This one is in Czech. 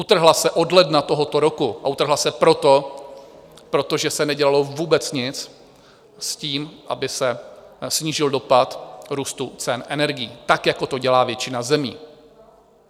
Utrhla se od ledna tohoto roku a utrhla se proto, protože se nedělalo vůbec nic s tím, aby se snížil dopad růstu cen energií tak, jako to dělá většina zemí.